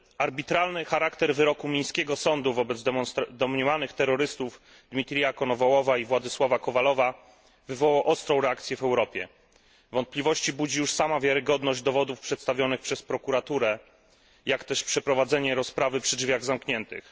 Arbitralny charakter wyroku mińskiego sądu wobec domniemanych terrorystów Dmitrija Konowałowa i Władysława Kowalowa wywołał ostrą reakcję w Europie. Wątpliwości budzi już sama wiarygodność przedstawionych przez prokuraturę dowodów, jak też przeprowadzenie rozprawy przy drzwiach zamkniętych.